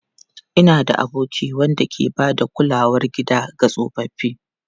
Ina da aboki wanda ke ba da kulawar gida ga tsofaffi.